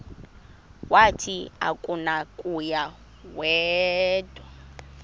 wathi akunakuya wedw